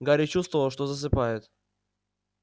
гарри чувствовал что засыпает